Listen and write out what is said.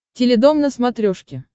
теледом на смотрешке